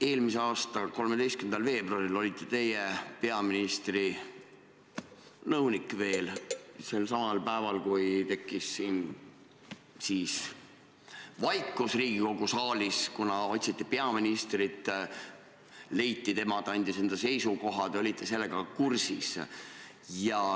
Eelmise aasta 13. veebruaril olite teie veel peaministri nõunik, selsamal päeval, kui tekkis vaikus Riigikogu saalis, kuna otsiti peaministrit, ta leiti, ta andis enda seisukohad, ja te olite sellega kursis.